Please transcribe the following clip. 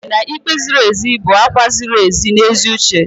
Agụrụ m na ikpe ziri ezi bụ àgwà ziri ezi na ezi uche.